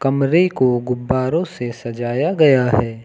कमरे को गुब्बारों से सजाया गया है।